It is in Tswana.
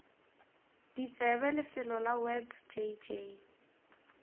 ditsebe lefelo la web jj